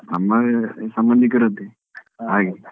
ನಮ್ಮ ಸಂಬಂಧಿಕರದ್ದೆ ಹಾಗೆ.